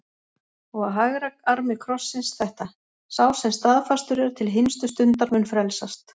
Og á hægra armi krossins þetta: Sá sem staðfastur er til hinstu stundar mun frelsast.